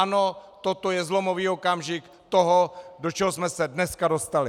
Ano, toto je zlomový okamžik toho, do čeho jsme se dneska dostali.